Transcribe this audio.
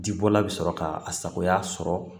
Ji bɔla bɛ sɔrɔ k'a a sagoya sɔrɔ